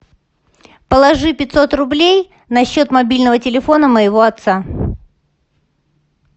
положи пятьсот рублей на счет мобильного телефона моего отца